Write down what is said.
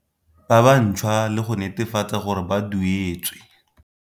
Ba bantšhwa le go netefatsa gore ba duetswe.